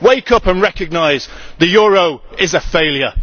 Wake up and recognise the euro is a failure.